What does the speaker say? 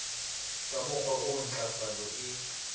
ka mokgowa oo ntlafalo e